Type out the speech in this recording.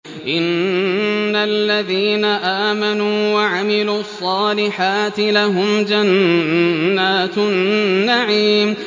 إِنَّ الَّذِينَ آمَنُوا وَعَمِلُوا الصَّالِحَاتِ لَهُمْ جَنَّاتُ النَّعِيمِ